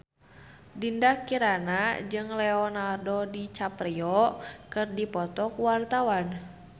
Dinda Kirana jeung Leonardo DiCaprio keur dipoto ku wartawan